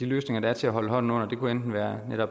løsninger der er til at holde hånden under dem kunne være